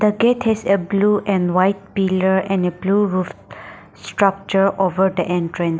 the gate has a blue and white pillar and a blue roof structure over the entrance.